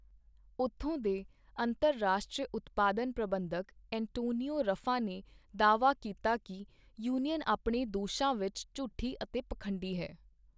ਉੱਥੋਂ ਦੇ ਅੰਤਰਰਾਸ਼ਟਰੀ ਉਤਪਾਦਨ ਪ੍ਰਬੰਧਕ ਐਂਟੋਨੀਓ ਰੱਫਾ ਨੇ ਦਾਅਵਾ ਕੀਤਾ ਕਿ ਯੂਨੀਅਨ ਆਪਣੇ ਦੋਸ਼ਾਂ ਵਿੱਚ ਝੂਠੀ ਅਤੇ ਪਖੰਡੀ ਹੈ।